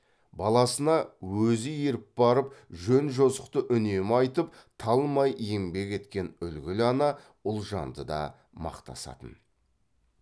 баласына өзі еріп барып жөн жосықты үнемі айтып талмай еңбек еткен үлгілі ана ұлжанды да мақтасатын